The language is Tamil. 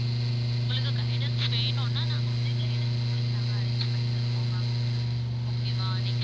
உங்களுக்கு guidance வேணும்னா நாங்க வந்து guidance உங்களுக்கு நாங்க arrange பண்ணி தருவோம் ma'am okay வா next